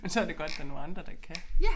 Men så det godt der nogle andre der kan